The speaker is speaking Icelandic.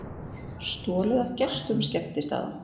Stolið af gestum skemmtistaða